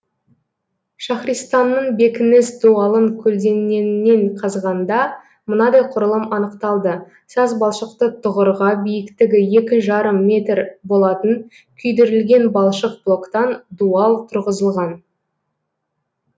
шахристанның бекініс дуалын көлденеңінен қазғанда мынадай құрылым анықталды сазбалшықты түғырға биіктігі екі жарым метр болатын күйдірілген балшық блоктан дуал тұрғызылған